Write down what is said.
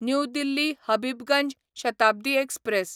new Delhi Habibganj Shatabdi express